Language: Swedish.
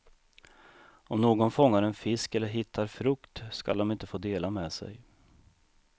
Om någon fångar en fisk eller hittar frukt skall de inte få dela med sig.